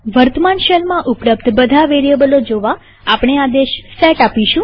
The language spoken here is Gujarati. વર્તમાન શેલમાં ઉપલબ્ધ બધા વેરીએબલો જોવાઆપણે આદેશ સેટ આપીશું